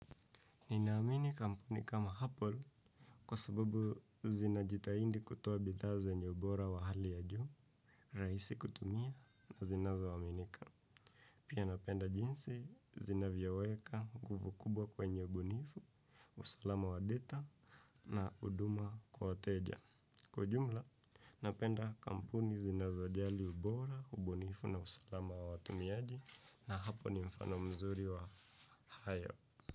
Ninaamini kampuni kama hapol kwa sababu zina jitaindi kutoa bidha zenye ubora wa hali ya ju ni, raisi kutumia na zinazo waminika. Pia napenda jinsi zinavyoweka kumbukumbu kwenye ubunifu usalama wa data na huduma wa wateja. Kwa jumla, napenda kampuni zinazo ajali ubora, ubunifu na usalama wa watumiaji na hapo ni mfano mzuri wa hayo.